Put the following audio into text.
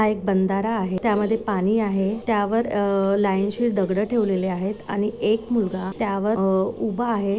हा एक बंदारा आहे त्यामध्ये पानी आहे त्यावर लाइन शिर दगड़ ठेवलेली आहेत आणि एक मुलगा त्या वर अ उभा आहे.